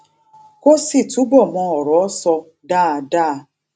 kó sì túbò mọ òrò sọ dáadáa